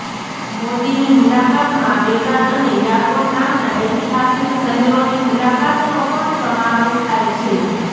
મોદીની મુલાકાતમાં બેગાન અને યાગોન નામના ઐતિહાસિક શહેરોની મુલાકાતનો પણ સમાવેશ થાય